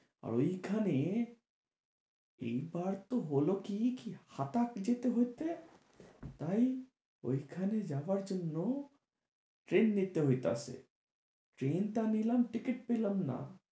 আর ঐখানে, এইবার তো হলো কি কি হাঠাৎ যেতে হতে। তাই ঐখানে যাবার জন্য train নিতে হইতাছে। train টা নিলাম ticket পেলাম না।